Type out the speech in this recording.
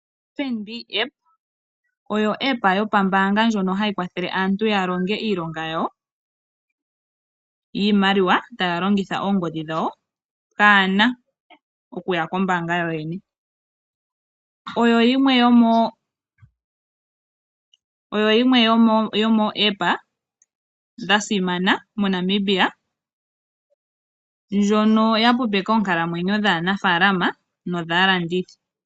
FNB Appa oyo epandja lyokomalungula ndyoka hali kwathele aantu ya longe iilonga yawo yiimaliwa taya longitha oongodhi dhawo pwaa na okuya kombaanga yoyene. Oyo yimwe yomomapandja gopaungomba ga simana moNamibia ndjoka ya hwepopeka oonkalamwenyo dhaanafaalama nodhaalandithi.